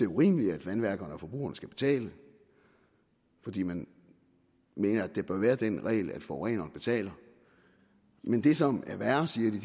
urimeligt at vandværkerne og forbrugerne skal betale fordi man mener at der bør være den regel at forureneren betaler men det som er værre siger de